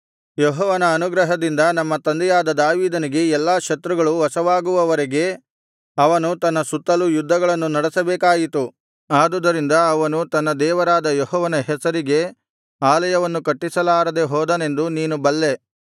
ಯೆಹೋವನ ಅನುಗ್ರಹದಿಂದ ನಮ್ಮ ತಂದೆಯಾದ ದಾವೀದನಿಗೆ ಎಲ್ಲಾ ಶತ್ರುಗಳು ವಶವಾಗುವವರೆಗೆ ಅವನು ತನ್ನ ಸುತ್ತಲೂ ಯುದ್ಧಗಳನ್ನು ನಡೆಸಬೇಕಾಯಿತು ಆದುದರಿಂದ ಅವನು ತನ್ನ ದೇವರಾದ ಯೆಹೋವನ ಹೆಸರಿಗೆ ಆಲಯವನ್ನು ಕಟ್ಟಿಸಲಾರದೆ ಹೋದನೆಂದು ನೀನು ಬಲ್ಲೇ